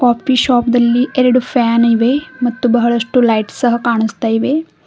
Coffee shop ದಲ್ಲಿ ಎರಡು fan ಇವೆ ಮತ್ತು ಬಹಳಷ್ಟು ಲೈಟ್ಸ್ ಸಹ ಕಾಣಿಸುತ್ತಿವೆ.